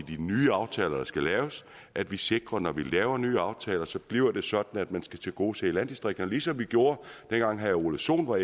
de nye aftaler der skal laves at vi sikrer når vi laver nye aftaler så bliver sådan at man skal tilgodese landdistrikterne ligesom vi gjorde da herre ole sohn var